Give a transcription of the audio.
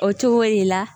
O cogo de la